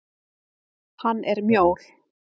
Hann er mjór.